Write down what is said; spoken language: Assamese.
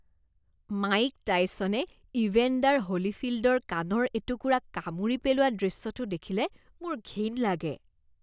মাইক টাইছনে ইভেণ্ডাৰ হ'লিফিল্ডৰ কাণৰ এটুকুৰা কামুৰি পেলোৱা দৃশ্যটো দেখিলে মোৰ ঘিণ লাগে।